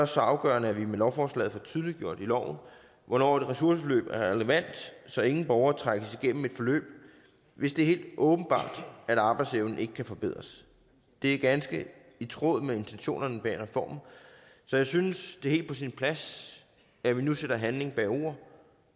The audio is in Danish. så afgørende at vi med lovforslaget får tydeliggjort i loven hvornår et ressourceforløb er relevant så ingen borgere trækkes igennem et forløb hvis det er helt åbenbart at arbejdsevnen ikke kan forbedres det er ganske i tråd med intentionerne bag reformen så jeg synes det er helt på sin plads at vi nu sætter handling bag ord